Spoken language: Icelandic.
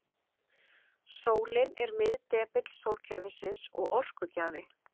Sólin er miðdepill sólkerfisins og orkugjafi.